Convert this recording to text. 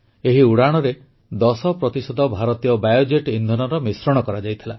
ଏହି ଉଡ଼ାଣରେ 10 ପ୍ରତିଶତ ଭାରତୀୟ ବାୟୋଜେଟ୍ ଇନ୍ଧନର ମିଶ୍ରଣ କରାଯାଇଥିଲା